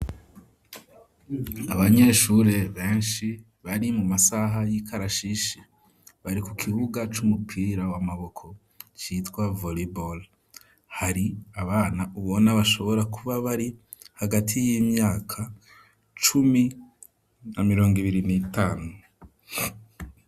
Abanyeshuri beshi bari mu masaha y'ikarashishi bari ku kibuga c'umupira w'amaboko citwa vollyball hari abana ubona bashobora kuba bari hagati y'imyaka cumi na mirongo ibiri n'itanu.